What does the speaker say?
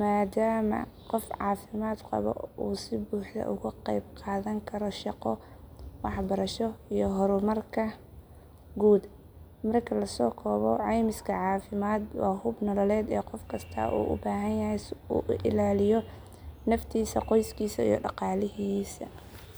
maadaama qof caafimaad qaba uu si buuxda uga qayb qaadan karo shaqo, waxbarasho, iyo horumarka guud. Marka la soo koobo ceymiska caafimaad waa hub nololeed oo qof kasta uu u baahan yahay si uu u ilaaliyo naftiisa, qoyskiisa, iyo dhaqaalihiisa.